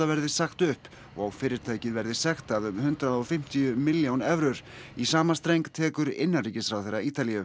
verði sagt upp og fyrirtækið verði sektað um hundrað og fimmtíu milljón evrur í sama streng tekur innanríkisráðherra Ítalíu